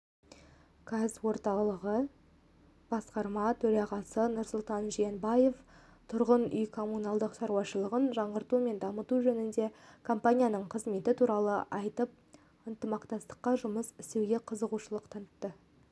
қазорталығы басқарма төрағасы нұрсұлтан жиенбаев тұрғын үй-коммуналдық шаруашылығын жаңғырту мен дамыту жөнінде компанияның қызметі туралы айтып ынтымақтастықта жұмыс істеуге қызығушылық танытты